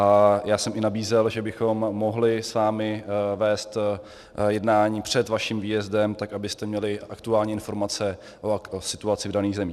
A já jsem i nabízel, že bychom mohli s vámi vést jednání před vaším výjezdem, tak abyste měli aktuální informace o situaci v daných zemích.